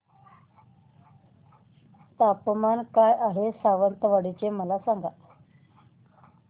तापमान काय आहे सावंतवाडी चे मला सांगा